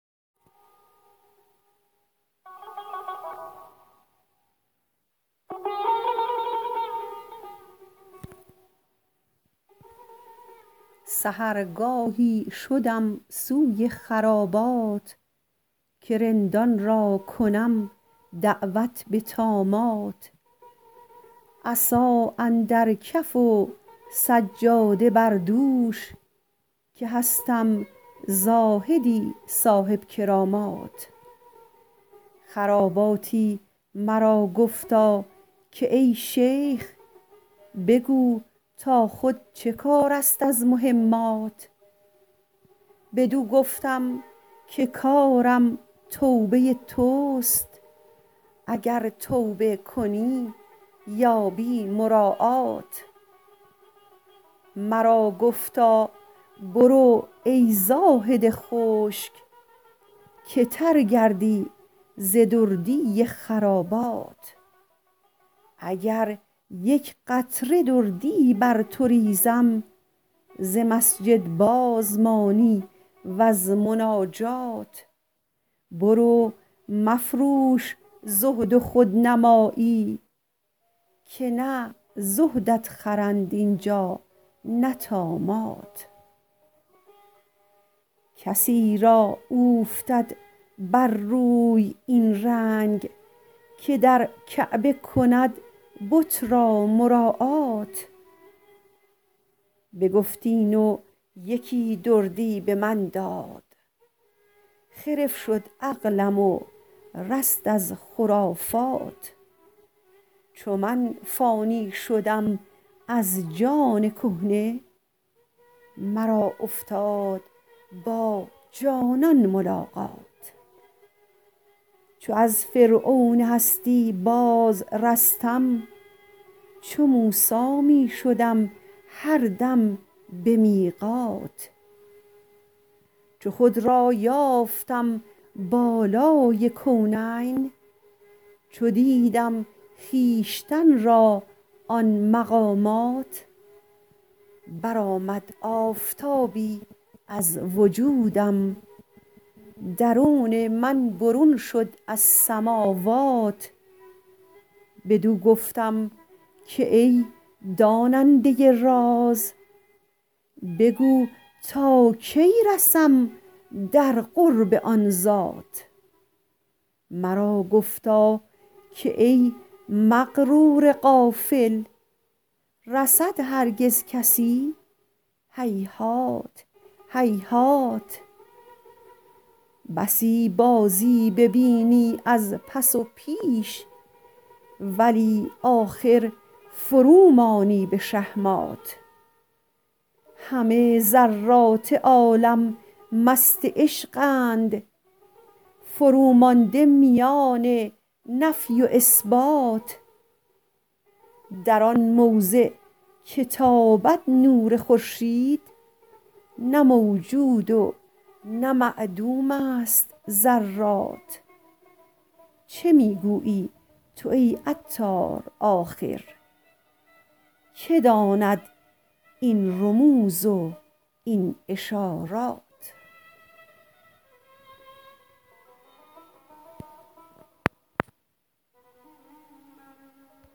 سحرگاهی شدم سوی خرابات که رندان را کنم دعوت به طامات عصا اندر کف و سجاده بر دوش که هستم زاهدی صاحب کرامات خراباتی مرا گفتا که ای شیخ بگو تا خود چه کار است از مهمات بدو گفتم که کارم توبه توست اگر توبه کنی یابی مراعات مرا گفتا برو ای زاهد خشک که تر گردی ز دردی خرابات اگر یک قطره دردی بر تو ریزم ز مسجد باز مانی وز مناجات برو مفروش زهد و خودنمایی که نه زهدت خرند اینجا نه طامات کسی را اوفتد بر روی این رنگ که در کعبه کند بت را مراعات بگفت این و یکی دردی به من داد خرف شد عقلم و رست از خرافات چو من فانی شدم از جان کهنه مرا افتاد با جانان ملاقات چو از فرعون هستی باز رستم چو موسی می شدم هر دم به میقات چو خود را یافتم بالای کونین چو دیدم خویشتن را آن مقامات برآمد آفتابی از وجودم درون من برون شد از سماوات بدو گفتم که ای داننده راز بگو تا کی رسم در قرب آن ذات مرا گفتا که ای مغرور غافل رسد هرگز کسی هیهات هیهات بسی بازی ببینی از پس و پیش ولی آخر فرومانی به شهمات همه ذرات عالم مست عشقند فرومانده میان نفی و اثبات در آن موضع که تابد نور خورشید نه موجود و نه معدوم است ذرات چه می گویی تو ای عطار آخر که داند این رموز و این اشارات